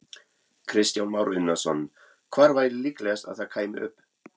Kristján Már Unnarsson: Hvar væri líklegast að það kæmi upp?